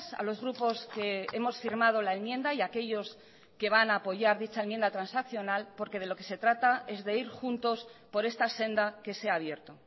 a los grupos que hemos firmado la enmienda y aquellos que van a apoyar dicha enmienda transaccional porque de lo que se trata es de ir juntos por esta senda que se ha abierto